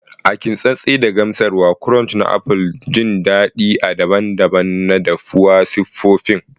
A kintsattse da gamsarwa crunch na apples, jin dadin a daban-daban na dafuwa siffofin.